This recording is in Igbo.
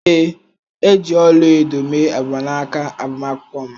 Ee. e ji ọla-edo mee mgbanaka agbamakwụkwọ m.